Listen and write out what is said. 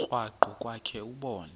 krwaqu kwakhe ubone